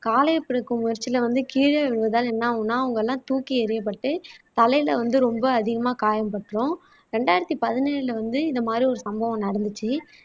காளையை பிடிக்கும் முயற்சியில வந்து கீழே விழுந்ததால் என்ன ஆகும்னா அவங்கெல்லாம் தூக்கி எறியப்பட்டு தலையில வந்து ரொம்ப அதிகமா காயம் பட்ரும் ரெண்டாயிரத்தி பதினேழுல வந்து இந்த மாதிரி ஒரு சம்பவம் நடந்துச்சு